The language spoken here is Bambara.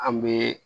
An bɛ